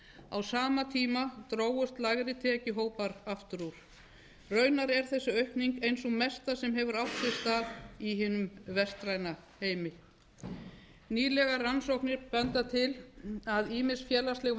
á sama tíma drógust lægri tekjuhópar aftur úr raunar er þessi aukning ein hin mesta sem hefur átt sér stað í hinum vestræna heimi nýlegar rannsóknir benda til að ýmis félagsleg